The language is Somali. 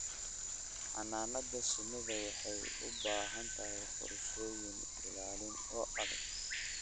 Xannaanada shinnidu waxay u baahan tahay qorshooyin ilaalin oo adag.